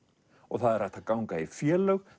það er hægt að ganga í félögum